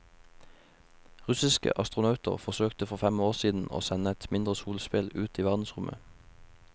Russiske astronauter forsøkte for fem år siden å sende et mindre solspeil ut i verdensrommet.